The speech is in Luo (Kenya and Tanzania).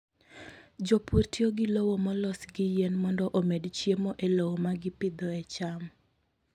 Jopur tiyo gi lowo molos gi yien mondo omed chiemo e lowo ma gipidhoe cham.